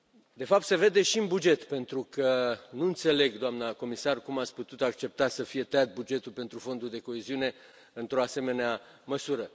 De fapt, se vede și în buget, pentru că nu înțeleg, doamnă comisar, cum ați putut accepta să fie tăiat bugetul pentru Fondul de coeziune într o asemenea măsură?